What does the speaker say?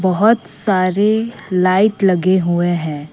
बहुत सारे लाइट लगे हुए हैं।